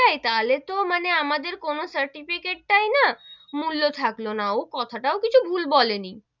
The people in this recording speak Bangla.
হয়ে যাই, তাহলে তো মানে আমাদের কোনো certificate টাই না, মূল্য থাকলো না, ও কথা টাও কিছু ভুল বলে নি,